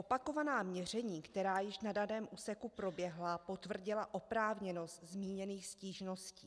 Opakovaná měření, která již na daném úseku proběhla, potvrdila oprávněnost zmíněných stížností.